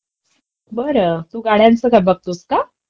बरं तू गाड्यांच बघतोस का?